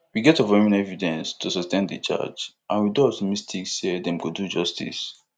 we get overwhelming evidence to sustain di charge and we dey optimistic say dem go do justice